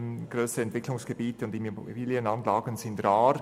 Grössere Entwicklungsgebiete und Immobilienanlagen sind rar.